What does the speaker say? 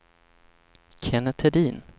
Kennet Hedin